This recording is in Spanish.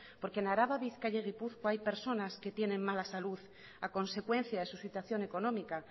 porque en araba bizkaia y gipuzkoa hay personas que tienen mala salud a consecuencia de su situación económica